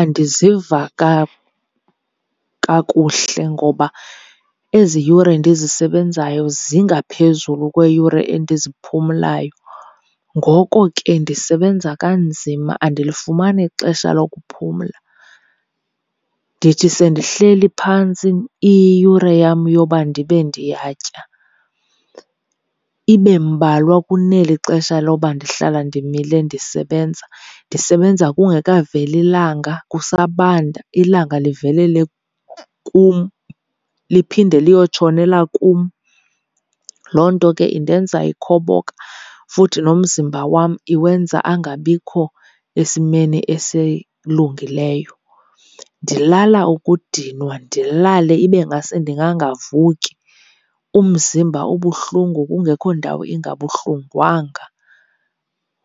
Andiziva kakuhle ngoba ezi yure ndizisebenzayo zingaphezulu kweeyure endiziphumlayo, ngoko ke ndisebenza kanzima andilifumani ixesha lokuphumla. Ndithi sendihleli phantsi iyiyure yam yoba ndibe ndiyatya ibe mbalwa kuneli xesha loba ndihlala ndimile ndisebenza. Ndisebenza kungekaveli langa kusabanda, ilanga livelele kum liphinde liyotshonela kum. Loo nto ke indenza ikhoboka futhi nomzimba wam iwenza angabikho esimeni esilungileyo. Ndilala ukudinwa ndilale ibe ngase ndingangavuki, umzimba ubuhlungu kungekho ndawo ingabuhlungwanga